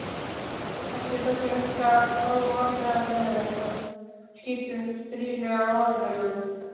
Eftir sátum við Helga hálfvandræðaleg og skiptumst stirðlega á orðum.